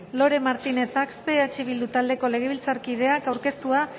lore martinez axpe eh bildu taldeko legebiltzarkideak aurkeztua